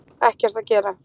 Ekkert að gera